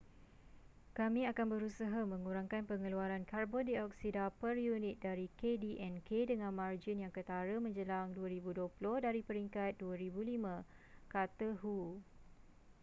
kami akan berusaha mengurangkan pengeluaran karbon dioksida per unit dari kdnk dengan margin yang ketara menjelang 2020 dari peringkat 2005 kata hu